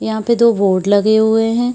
यहाँ पे दो बोर्ड लगे हुए है।